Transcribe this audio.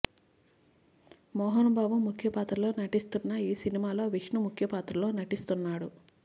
మోహన్ బాబు ముఖ్య పాత్రలో నటిస్తున్న ఈ సినిమాలో విష్ణు ముఖ్య పాత్రలో నటిస్తున్నాడు